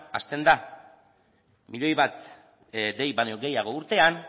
hasten da milioi bat dei baino gehiago urtean